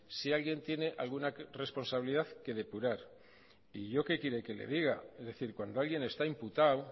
si alguien tiene alguna responsabilidad que depurar y yo qué quiere que le diga es decir cuando alguien está imputado